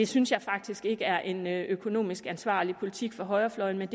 synes jeg faktisk ikke er en økonomisk ansvarlig politik fra højrefløjens